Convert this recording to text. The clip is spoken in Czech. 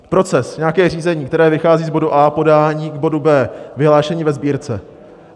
Proces, nějaké řízení, které vychází z bodu A - podání k bodu B - vyhlášení ve Sbírce.